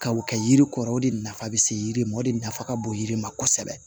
Ka o kɛ yiri kɔrɔ o de nafa bɛ se yiri ma o de nafa ka bon yiri ma kosɛbɛ